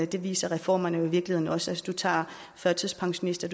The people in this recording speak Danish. det viser reformerne i virkeligheden også hvis du tager førtidspensionister